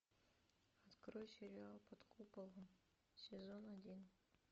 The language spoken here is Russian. открой сериал под куполом сезон один